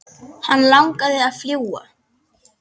Hann langaði að fljúga.